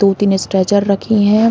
दो तीन स्ट्रेचर रखें हैं।